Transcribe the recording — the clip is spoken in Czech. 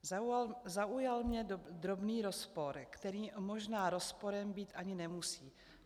Zaujal mě drobný rozpor, který možná rozporem být ani nemusí.